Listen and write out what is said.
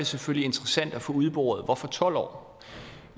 selvfølgelig interessant at få udboret hvorfor tolv år